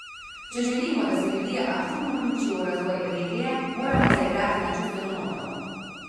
Če želimo, da se ljudje aktivno vključijo v razvoj regije, moramo zaigrati na čustveno noto.